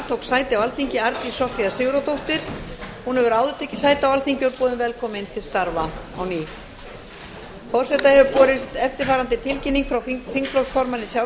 sæti aðalmanns í velferðarnefnd í stað péturs h blöndals ragnheiður e árnadóttir verður varamaður í nefndinni